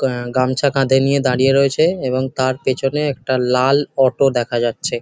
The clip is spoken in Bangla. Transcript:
গ্যা গামছা কাঁধে নিয়ে দাঁড়িয়ে রয়েছে এবং তার পেছনে একটা লাল অটো দেখা যাচ্ছে।